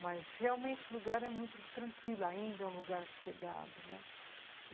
Mas realmente o lugar é muito tranquilo, ainda é um lugar sossegado, né?